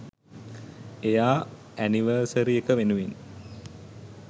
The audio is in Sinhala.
එයා ඇනිවර්සරි එක වෙනුවෙන්